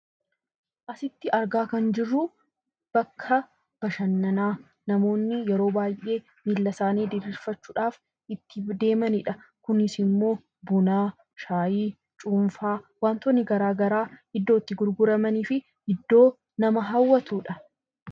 Asitti argaa kan jirru bakka bashannanaa namoonni yeroo baayyee miilla isaanii diiirsifachuudhaaf itti deemanidha. Kunisimmoo buna shayii cuunfaa wantootni garagaraa iddoo itti gurguramaniifi iddoo nama hawwatudha.